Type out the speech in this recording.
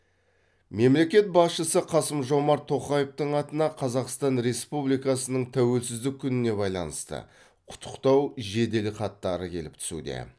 мемлекет басшысы қасым жомарт тоқаевтың атына қазақстан республикасының тәуелсіздік күніне байланысты құттықтау жеделхаттары келіп түсуде